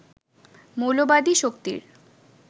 মৌলবাদী শক্তির